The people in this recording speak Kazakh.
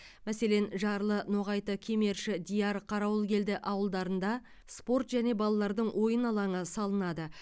мәселен жарлы ноғайты кемерши дияр қарауылкелді ауылдарында спорт және балалардың ойын алаңы салынады